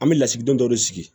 An bɛ lasigiden dɔ de sigi